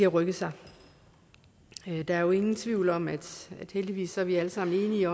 rykket sig der er jo ingen tvivl om heldigvis er vi alle sammen enige